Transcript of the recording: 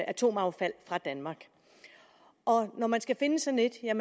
atomaffald fra danmark når man skal finde sådan et er